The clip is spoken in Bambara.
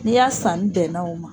N'i ya sani bɛnna o ma